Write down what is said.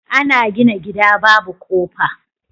Ana gina gida Babu kofa